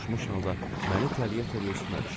Coşmuş halda məni itələyə-itələyə üstümə düşdü.